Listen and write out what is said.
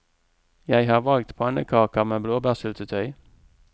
Jeg har valgt pannekaker med blåbærsyltetøy.